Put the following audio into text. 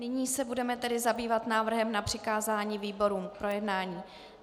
Nyní se budeme tedy zabývat návrhem na přikázání výborům k projednání.